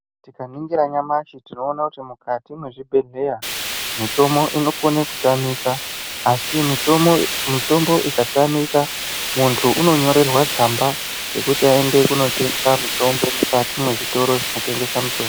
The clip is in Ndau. Tikaningira nyamashi tinoona kuti mukati mwezvibhehleya mitombo inokone kutamika. Asi mitombo ikatamika muntu unonyorerwa tsamba yekuti aende kunotenga mutombo mukati mwezvitoro zvinotengesa mitombo.